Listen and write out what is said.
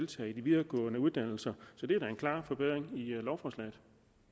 tage en videregående uddannelse så det er da en klar forbedring i lovforslaget